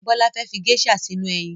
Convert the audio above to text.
Bọ́lá fẹ́ fi geisha sínú eyin